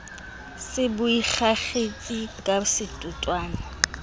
se bo ikakgetse ka setotswana